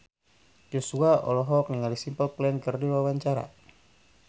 Joshua olohok ningali Simple Plan keur diwawancara